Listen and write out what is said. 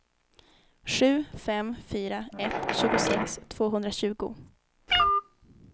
sju fem fyra ett tjugosex tvåhundratjugo